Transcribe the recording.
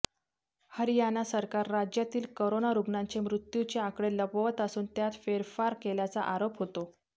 हरयाणा सरकार राज्यातील करोना रुग्णांच्या मृत्युचे आकडे लपवत असून त्यात फेरफार केल्याचा आरोप होतो